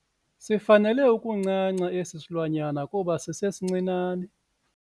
Sifanele ukuncanca esi silwanyana kuba sisesincinane.